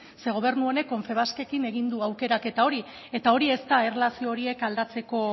ze gobernu honek confebaskekin egin du aukeraketa hori eta hori ez da erlazio horiek